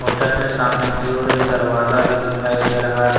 Hotel में सामने की ओर एक दरवाजा भी दिखाई दे रहा है।